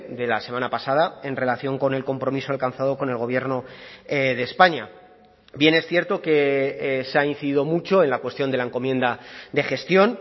de la semana pasada en relación con el compromiso alcanzado con el gobierno de españa bien es cierto que se ha incidido mucho en la cuestión de la encomienda de gestión